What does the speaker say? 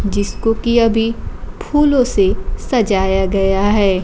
जिसको की अभी फूलों से सजाया गया है।